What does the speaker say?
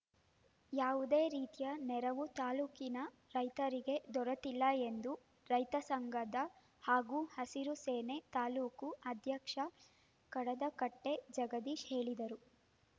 ಯಾವುದೇ ರೀತಿಯ ನೆರವು ತಾಲೂಕಿನ ರೈತರಿಗೆ ದೊರೆತಿಲ್ಲ ಎಂದು ರೈತ ಸಂಘದ ಹಾಗೂ ಹಸಿರು ಸೇನೆ ತಾಲೂಕು ಅಧ್ಯಕ್ಷ ಕಡದಕಟ್ಟೆಜಗದೀಶ ಹೇಳಿದರು